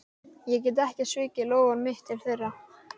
Ég get ekki svikið loforð mitt til þeirra.